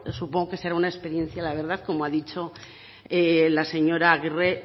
supongo que será una experiencia la verdad como ha dicho la señora agirre